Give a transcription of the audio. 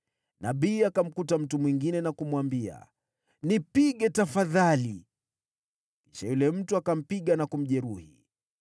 Nabii akamkuta mtu mwingine na kumwambia, “Nipige tafadhali.” Kisha yule mtu akampiga na kumjeruhi.